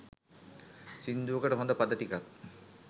සිංදුවකට හොඳ පද ටිකක්